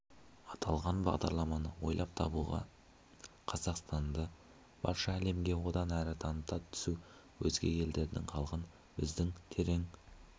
аталған бағдарламаны ойлап табуға қазақстанды барша әлемге одан әрі таныта түсу өзге елдердің халқын біздің терең